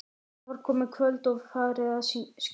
Það var komið kvöld og farið að skyggja.